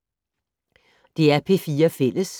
DR P4 Fælles